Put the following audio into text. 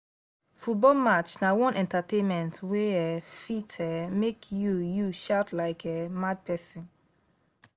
football match na one entertainment wey um fit um make you you shout like um mad person